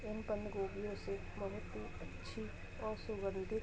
इन बंद गोबियों से बोहित ही अच्छी और सुगंधी --